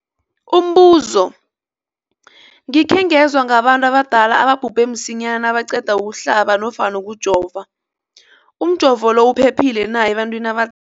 Umbuzo, gikhe ngezwa ngabantu abadala ababhubhe msinyana nabaqeda ukuhlaba nofana ukujova. Umjovo lo uphephile na ebantwini abada